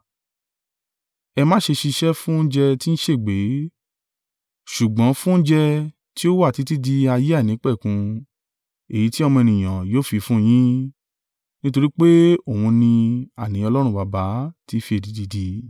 Ẹ má ṣe ṣiṣẹ́ fún oúnjẹ tí ń ṣègbé, ṣùgbọ́n fún oúnjẹ tí ó wà títí di ayé àìnípẹ̀kun, èyí tí Ọmọ Ènìyàn yóò fi fún yín. Nítorí pé òun ni, àní Ọlọ́run Baba ti fi èdìdì dì í.”